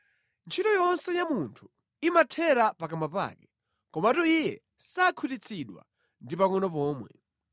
Ntchito yonse ya munthu imathera pakamwa pake, komatu iye sakhutitsidwa ndi pangʼono pomwe.